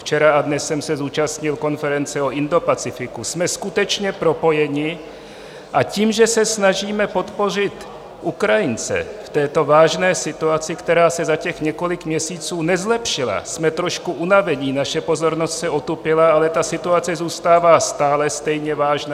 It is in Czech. Včera a dnes jsem se zúčastnil konference o Indopacifiku, jsme skutečně propojeni, a tím, že se snažíme podpořit Ukrajince v této vážné situaci, která se za těch několik měsíců nezlepšila, jsme trošku unaveni, naše pozornost se otupila, ale ta situace zůstává stále stejně vážná.